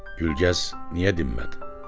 Gülgəz niyə dinmədi?